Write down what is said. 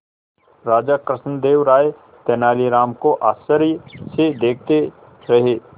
राजा कृष्णदेव राय तेनालीराम को आश्चर्य से देखते रहे